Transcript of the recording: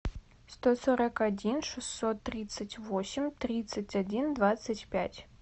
сто сорок один шестьсот тридцать восемь тридцать один двадцать пять